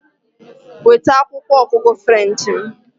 Weta akwụkwọ ọgụgụ French m!